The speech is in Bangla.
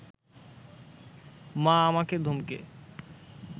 মা আমাকে ধমকে